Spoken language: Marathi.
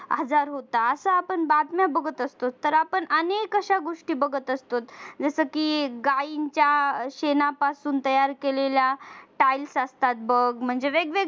हजार होता असा पण बातम्या बघत असतो तर आपण अशा अनेक गोष्टी बघत असतो जसं की गायींच्या शेणापासून तयार केलेल्या बघ म्हणजे वेगवेगळ्या